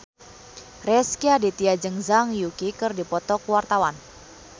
Rezky Aditya jeung Zhang Yuqi keur dipoto ku wartawan